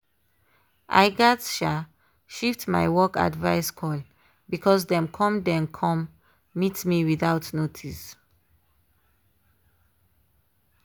i gatz um shift my work advice call because dem come dem come meet me without notice.